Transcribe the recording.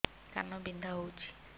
କାନ ବିନ୍ଧା ହଉଛି